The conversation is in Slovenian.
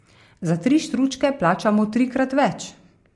Za tri štručke plačamo trikrat več.